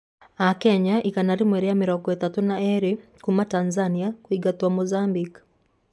Akenya 132 kuuma Tanzania kũingatwo Mozambique